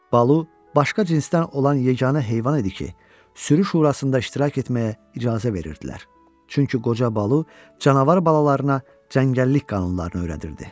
Balu başqa cinsdən olan yeganə heyvan idi ki, sürü şurasında iştirak etməyə icazə verirdilər, çünki qoca Balu canavar balalarına çəngəllik qanunlarını öyrədirdi.